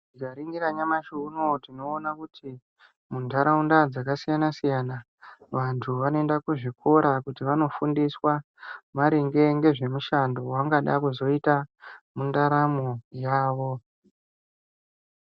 Tikaningira nyamushi unowu tinoona kuti mundaraunda dzakasiyana siyana vantu vanoenda kuzvikora kuti vandofundiswa maringe ngezvemishando wawaangada kuzoita mundaramo yavo.